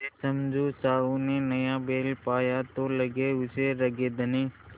समझू साहु ने नया बैल पाया तो लगे उसे रगेदने